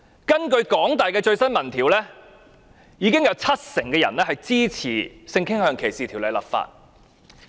根據香港大學的最新民意調查，有七成人支持就性傾向條例立法。